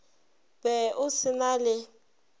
be o se na le